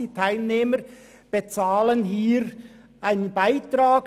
Die Teilnehmer bezahlen einen Beitrag.